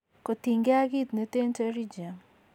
Kotien gee ak kit neten pterygium